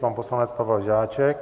Pan poslanec Pavel Žáček.